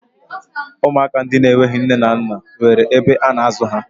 Ụmụaka ndị enweghi nne na nna nwere ebe a na-azụ ha